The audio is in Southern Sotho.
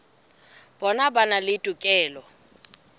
bona ba na le tokelo